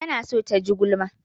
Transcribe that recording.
Tana so ta ji gulma.